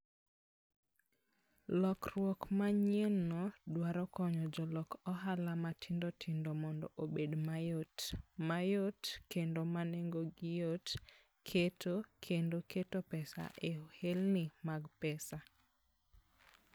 Lokruok manyienno dwaro konyo jolok ohala matindo tindo mondo obed mayot, ma yot, kendo ma nengogi yot, keto kendo keto pesa e ohelni mag pesa.